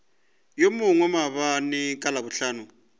yo mongwe maabane ka labohlano